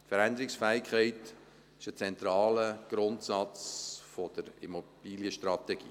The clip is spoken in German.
Veränderungsfähigkeit ist ein zentraler Grundsatz der Immobilienstrategie.